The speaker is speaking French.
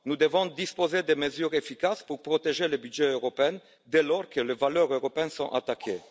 Nous devons disposer de mesures efficaces pour protéger le budget européen, dès lors que les valeurs européennes sont attaquées.